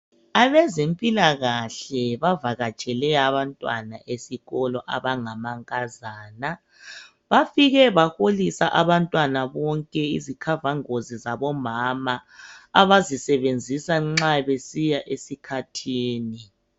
Abezempilakahle bavakatshele abantwana besikolo abangama nkazana. Bafike baholisa abantwana bonke izikhavangozi zabomama abazisebenzisa nxa besiya esikhathini